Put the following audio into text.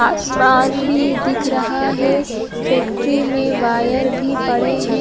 आसमान भी दिख रहा है फैक्ट्री में वायर भी पड़े हैं।